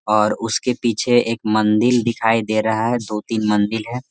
और उसके पीछे एक मंदिल दिखाई दे रहा दो तीन मंदिल है।